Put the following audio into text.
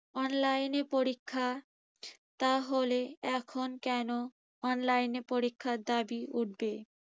online এ পরীক্ষা। তাহলে এখন কেন online এ পরীক্ষার দাবি উঠবে।